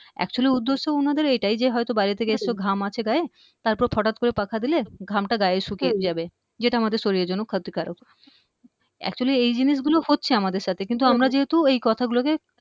actually উদ্দেশ্য উনাদের এটাই যে হয়ত বাইরের থেকে এসছো ঘাম আছে গায়ে তারপর ফঠাৎ করে পাখা দিলে ঘামটা গায়ে শুকিয়ে যাবে যেটা আমাদের শরীরের জন্য ক্ষতিকারক actually এই জিনিস গুলো হচ্ছে আমাদের সাথে কিন্তু আমরা যেহেতু এই কথাগুলোকে